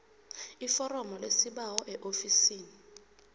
iforomo lesibawo eofisini